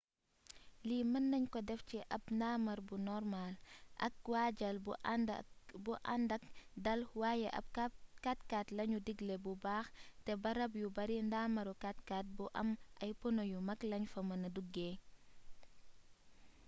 lii mën nañ ko def ci ab ndaamar bu normaal ak waajal bu àndak dàl waaye ab 4x4 lañu digle bu baax te barab yu bari ndaamaru 4x4 bu am ay pono yu mag lañ fa mëna duggee